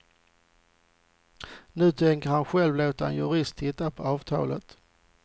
Nu tänker han själv låta en jurist titta på avtalet.